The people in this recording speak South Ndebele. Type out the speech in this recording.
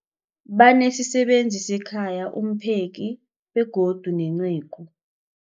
Banesisebenzi sekhaya, umpheki, begodu nenceku.